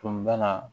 Tun bana